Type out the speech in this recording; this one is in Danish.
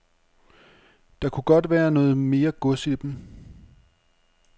Der kunne godt være noget mere gods i dem.